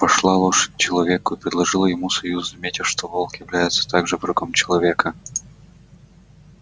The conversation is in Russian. пошла лошадь к человеку и предложила ему союз заметив что волк является также врагом человека